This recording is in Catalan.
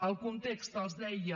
el context els deia